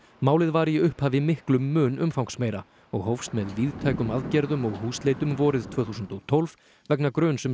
málið var í upphafi miklum mun umfangsmeira og hófst með víðtækum aðgerðum og húsleitum vorið tvö þúsund og tólf vegna gruns um